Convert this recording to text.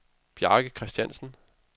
Bjarke Kristiansen